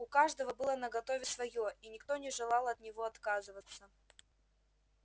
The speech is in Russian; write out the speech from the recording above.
у каждого было наготове своё и никто не желал от него отказываться